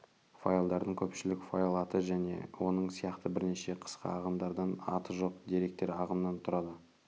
файлдардың көпшілігі файл аты және оның сияқты бірнеше қысқа ағымдардан аты жоқ деректер ағымынан тұрады